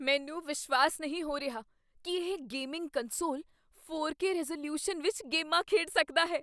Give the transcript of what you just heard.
ਮੈਨੂੰ ਵਿਸ਼ਵਾਸ ਨਹੀਂ ਹੋ ਰਿਹਾ ਕੀ ਇਹ gaming console four K resolution ਵਿੱਚ ਗੇਮਾਂ ਖੇਡ ਸਕਦਾ ਹੈ